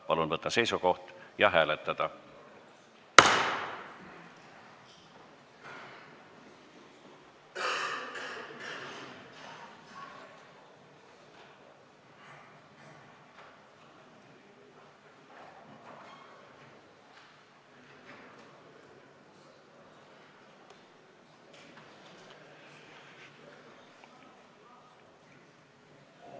Palun võtta seisukoht ja hääletada!